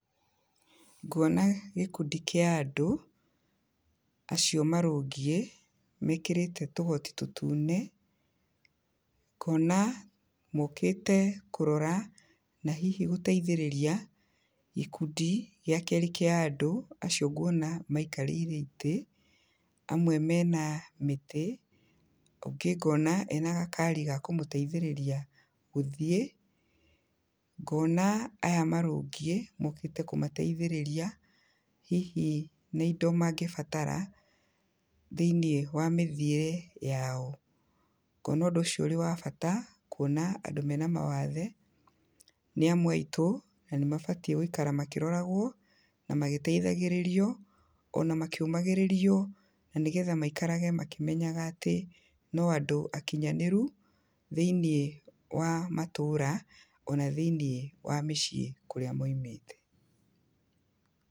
Nguona gĩkundi kĩa andũ, acio marũngiĩ mekĩrĩte tũgoti tũtune, ngona mokĩte kũrora, na hihi gũteithĩrĩria gĩkundi gĩa kerĩ kĩa andũ, acio nguona maikarĩire itĩ, amwe mena mĩtĩ, ũngĩ ngona ena gakari ga kũmũteithĩrĩria gũthiĩ, ngona aya marũngiĩ, mokĩte kũmateithĩrĩria, hihi me indo mangĩbatara, thĩinĩ wa mĩthiĩre yao, ngona ũndũ ũcio ũrĩ wa bata, kuona andũ mena mawathe, nĩamwe aitũ, na nĩ mabatiĩ gwĩikara makĩroragwo, na magĩteithagĩrĩrio, ona makĩũmagĩrĩrio, na nĩgetha maikarage makĩmenyaga atĩ, no andũ akinyanĩru thĩinĩ wa matũra, ona thĩinĩ wa mĩciĩ kũrĩa maimĩte.